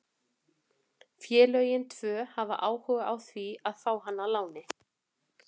Félögin tvö hafa áhuga á því að fá hann á láni.